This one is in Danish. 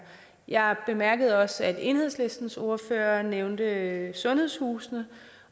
jeg bemærkede også at enhedslistens ordfører nævnte sundhedshusene